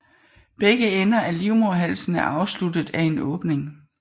Begge ender af livmoderhalsen er afsluttet af en åbning